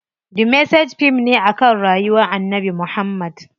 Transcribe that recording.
The Message fim ne akan rayuwar Annabi Muhammad.